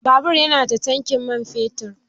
Babur ya nada tankin man fetur.